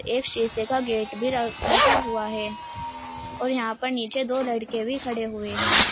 एक शीशे का गेट भी लगा हुआ है और जहां पर नीचे दो लड़के भी खड़े हुए हैं।